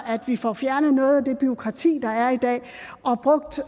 vi får fjernet noget af det bureaukrati der er i dag og brugt